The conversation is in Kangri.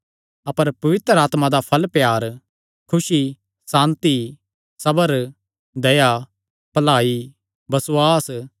अपर पवित्र आत्मा दा फल़ प्यार खुसी सांति सबर दया भलाई बसुआस